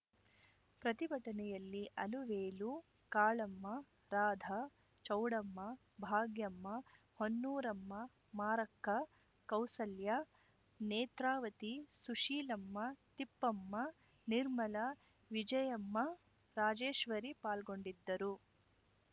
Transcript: ಪ್ರತಿಭಟನೆಯಲ್ಲಿ ಅಲುವೇಲು ಕಾಳಮ್ಮ ರಾಧ ಚೌಡಮ್ಮ ಭಾಗ್ಯಮ್ಮ ಹೊನ್ನೂರಮ್ಮ ಮಾರಕ್ಕ ಕೌಸಲ್ಯ ನೇತ್ರಾವತಿ ಸುಶೀಲಮ್ಮ ತಿಪ್ಪಮ್ಮ ನಿರ್ಮಲಾ ವಿಜಯಮ್ಮ ರಾಜೇಶ್ವರಿ ಪಾಲ್ಗೊಂಡಿದ್ದರು